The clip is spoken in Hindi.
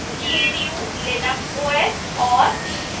gnu/linux os और